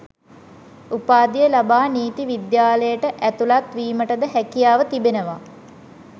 උපාධිය ලබා නීති විද්‍යාලයට ඇතුළත් වීමටද හැකියාව තිබෙනවා